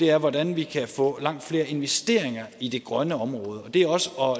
er hvordan vi kan få langt flere investeringer i det grønne område det er også